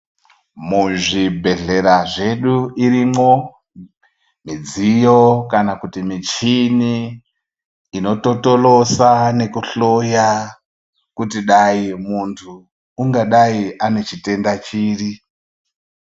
Muzvibhehlera zvedu irimwo midziyo kana kuti michini inototolosa nekuhloya kuti muntu ungadai ane chitenda chiri.